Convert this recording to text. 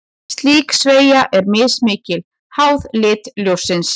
Slík sveigja er mismikil, háð lit ljóssins.